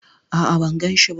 A'a, ban ganshi ba.